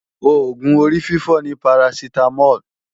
Oògùn orífífọ́ ni Parasitamol